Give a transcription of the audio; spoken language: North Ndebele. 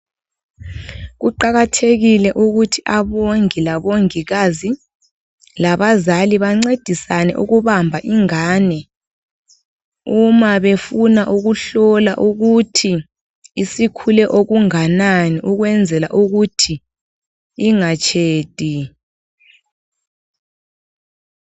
Kuqakathekile ukuthi abongi labongikazi labazali bancedisane ukubamba ingane uma befuna ukuhlola ukuthi isikhule okunganani ukwenzela ukuthi ingatshedi.